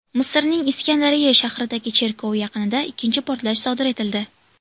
Misrning Iskandariya shahridagi cherkov yaqinida ikkinchi portlash sodir etildi.